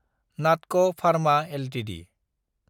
नाटक pharma Ltd